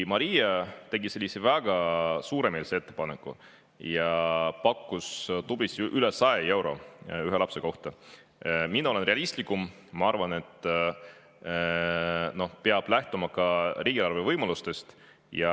Maria tegi sellise väga suuremeelse ettepaneku ja pakkus tublisti üle 100 euro ühe lapse kohta, aga mina olen realistlikum, ma arvan, et peab lähtuma ka riigieelarve võimalustest.